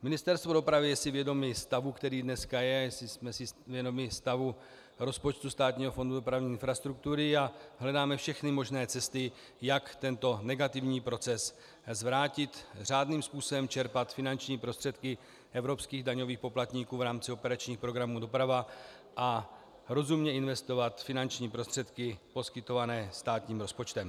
Ministerstvo dopravy je si vědomo stavu, který dnes je, jsme si vědomi stavu rozpočtu Státního fondu dopravní infrastruktury a hledáme všechny možné cesty, jak tento negativní proces zvrátit, řádným způsobem čerpat finanční prostředky evropských daňových poplatníků v rámci operačních programů doprava a rozumně investovat finanční prostředky poskytované státním rozpočtem.